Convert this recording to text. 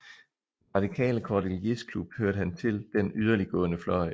I den radikale Cordeliersklub hørte han til den yderliggående fløj